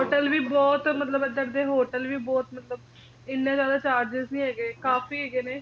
ਮੈਂ ਇਹਦਾ ਸੁਣਿਆ hotel ਵੀ ਬਹੁਤ ਮਤਲਬ ਕੇ ਏਧਰ ਦੇ hotel ਵੀ ਬਹੁਤ ਮਤਲਬ ਇਹਨੇ ਜ਼ਿਆਦਾ charges ਨੀ ਹੈਗੇ ਕਾਫੀ ਹੈਗੇ ਨੇ